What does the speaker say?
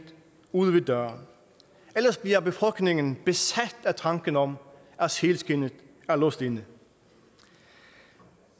ude ved døren ellers bliver befolkningen besat af tanken om at sælskindet er låst inde